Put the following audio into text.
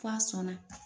F'a sɔnna